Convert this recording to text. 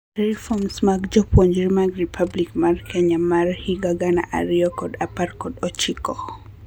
Reforms mag puonjruok mag Republic mar Kenya mar higa gana ariyo kod apar kod ochiko.